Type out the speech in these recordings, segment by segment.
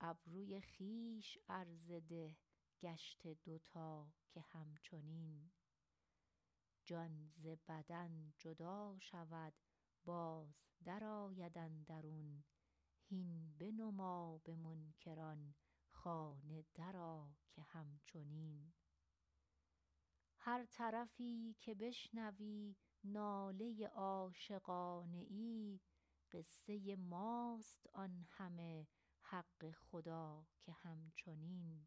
ابروی خویش عرضه ده گشته دو تا که هم چنین جان ز بدن جدا شود باز درآید اندرون هین بنما به منکران خانه درآ که هم چنین هر طرفی که بشنوی ناله عاشقانه ای قصه ماست آن همه حق خدا که هم چنین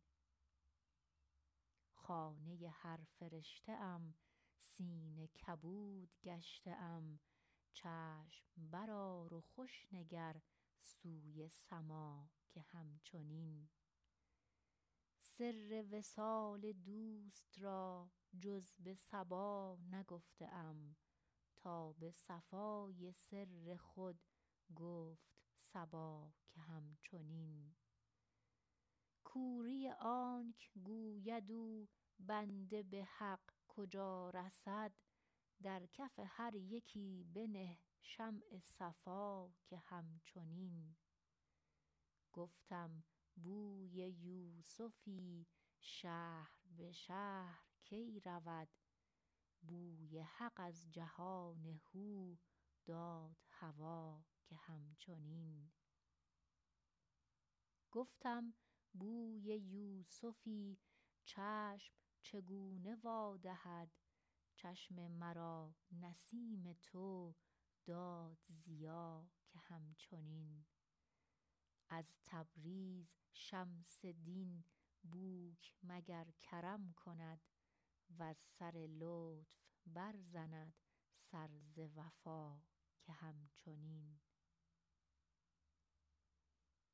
خانه هر فرشته ام سینه کبود گشته ام چشم برآر و خوش نگر سوی سما که هم چنین سر وصال دوست را جز به صبا نگفته ام تا به صفای سر خود گفت صبا که هم چنین کوری آنک گوید او بنده به حق کجا رسد در کف هر یکی بنه شمع صفا که هم چنین گفتم بوی یوسفی شهر به شهر کی رود بوی حق از جهان هو داد هوا که هم چنین گفتم بوی یوسفی چشم چگونه وا دهد چشم مرا نسیم تو داد ضیا که هم چنین از تبریز شمس دین بوک مگر کرم کند وز سر لطف برزند سر ز وفا که هم چنین